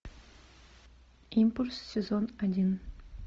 импульс сезон один